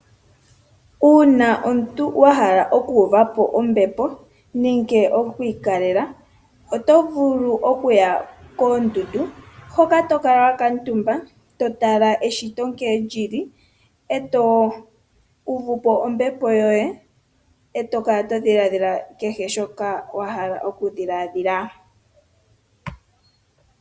Uuna omuntu wahala okuuvapo ombepo nenge okwiikalela, oto vulu okuya koondundu hoka tokala wakuutumba totala eshito nkene lili, eto uvupo ombepo yoye, nokukala todhiladhila kehe shoka wahala okudhiladhila.